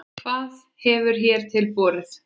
Hvað hefur hér til borið?